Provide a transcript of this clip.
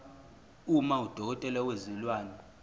uma udokotela wezilwane